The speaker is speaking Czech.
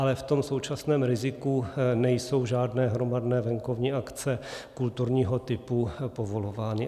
Ale v tom současném riziku nejsou žádné hromadné venkovní akce kulturního typu povolovány.